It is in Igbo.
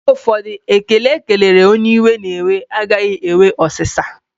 Mgbe ụfọdụ, ekele ekelere onye iwe na-ewe, a gaghị enwe ụ̀sá